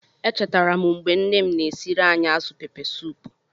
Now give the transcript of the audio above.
Echetere m mgbe nne m na-esiere anyị azụ Pepesoopu.